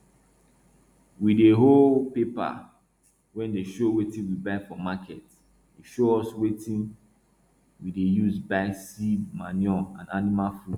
we dey hold paper wey dey show wetin we buy for market e show us wetin we dey use buy seed manure and animal food